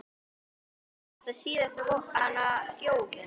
Breki: Er þetta síðasta gjöfin?